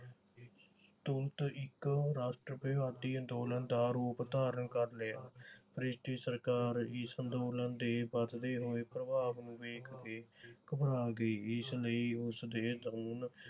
ਤੋਂ ਇਕ ਰਾਸ਼ਟਰਵਾਦੀ ਅੰਦੋਲਨ ਦਾ ਰੂਪ ਧਾਰਨ ਕਰ ਲਿਆ। ਭ੍ਰਿਸ਼ਟੀ ਸਰਕਾਰ ਇਸ ਅੰਦੋਲਨ ਦੇ ਵਧਦੇ ਹੋਏ ਪ੍ਰਭਾਵ ਨੂੰ ਵੇਖ ਕੇ ਘਬਰਾ ਗਈ। ਇਸ ਲਈ ਉਸਦੇ